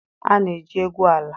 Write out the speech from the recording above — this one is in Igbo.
A na-eji egwu ala